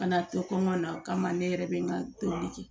Kana to kɔngɔ na o kama ne yɛrɛ bɛ n ka tobili kɛ